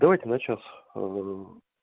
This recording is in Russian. давайте на час